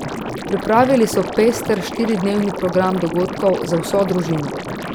Pripravili so pester štiridnevni program dogodkov za vso družino.